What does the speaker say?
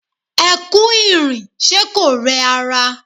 Ẹ kú ìrìn, ṣe kò rẹ ara?